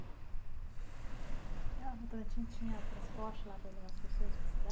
A Votorantim tinha transporte lá para levar as pessoas para cidade?